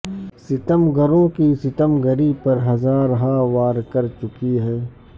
ستم گروں کی ستم گری پر ہزارہا وار کر چکی ہے